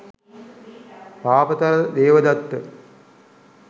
පාපතර Devadatta,